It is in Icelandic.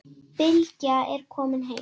Bylgja er komin heim.